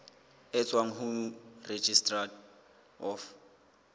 e tswang ho registrar of